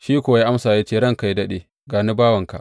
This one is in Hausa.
Shi kuwa ya amsa ya ce, Ranka yă daɗe, ga ni, bawanka.